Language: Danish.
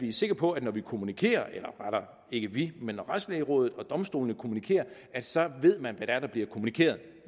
er sikre på at når vi kommunikerer eller rettere ikke vi men retslægerådet og domstolene kommunikerer så ved man hvad det er der bliver kommunikeret